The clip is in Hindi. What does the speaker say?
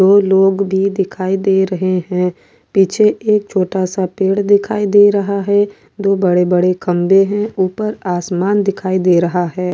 दो लोग भी दिखाई दे रहे है पीछे एक छोटा सा पेड़ दिखाई दे रहा है दो बड़े बड़े खंबे है ऊपर आसमान दिखाई दे रहा है।